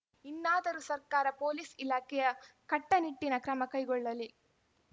ಇನ್ನಾದರೂ ಸರ್ಕಾರ ಪೊಲೀಸ್‌ ಇಲಾಖೆಯ ಕಟ್ಟನಿಟ್ಟಿನ ಕ್ರಮ ಕೈಗೊಳ್ಳಲಿ